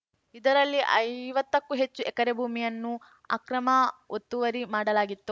ಇದರಲ್ಲಿ ಐವತ್ತಕ್ಕೂ ಹೆಚ್ಚು ಎಕರೆ ಭೂಮಿಯನ್ನು ಅಕ್ರಮ ಒತ್ತುವರಿ ಮಾಡಲಾಗಿತ್ತು